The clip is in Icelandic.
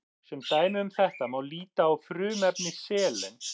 sem dæmi um þetta má líta á frumefni selen